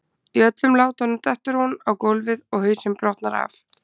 Í öllum látunum dettur hún á gólfið og hausinn brotnar af.